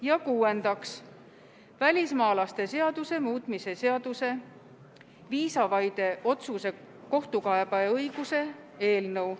Ja kuuendaks, välismaalaste seaduse muutmise seaduse eelnõu.